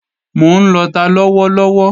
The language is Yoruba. Mò ń lọta lọ́wọ́ lọ́wọ́